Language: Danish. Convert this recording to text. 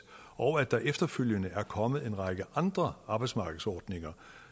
og at der efterfølgende er kommet en række andre arbejdsmarkedsordninger